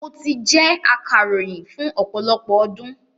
Mo ti jẹ́ akàròyìn fún ọ̀pọ̀lọpọ̀ ọdún.